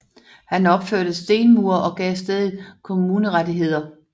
Han opførte stenmure og gav stedet kommunerettigheder